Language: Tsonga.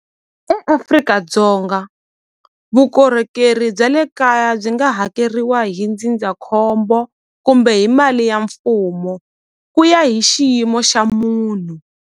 EAfrika-Dzonga vukorhokeri bya le kaya byi nga hakeriwa hi ndzindzakhombo kumbe hi mali ya mfumo ku ya hi xiyimo xa munhu.